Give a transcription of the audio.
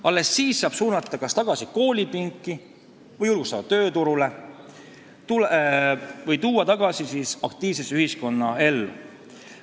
Alles siis saab nad suunata kas tagasi koolipinki või tööturule ja nad tagasi aktiivsesse ühiskonnaellu tuua.